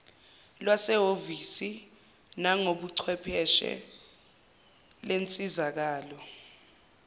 lwasehhovisi nangobuchwepheshe lensizakalo